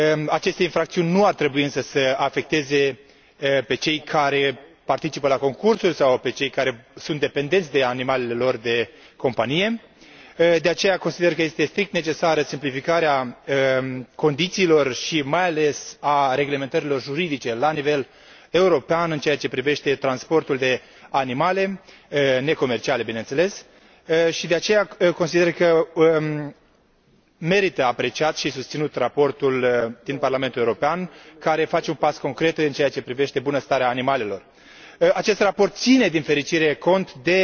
Aceste infracțiuni nu ar trebui însă să îi afecteze pe cei care participă la concursuri sau pe cei care sunt dependenți de animalele lor de companie. De aceea, consider că este strict necesară simplificarea condițiilor și, mai ales, a reglementărilor juridice la nivel european în ceea ce privește transportul de animale, necomerciale bineînțeles, și, de aceea, consider că merită apreciat și susținut raportul din Parlamentul European, care face un pas concret în ceea ce privește bunăstarea animalelor. Acest raport ține cont, din fericire,